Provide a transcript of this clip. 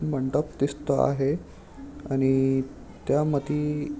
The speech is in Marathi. मंडप दिसतो आहे आणि त्यामदी--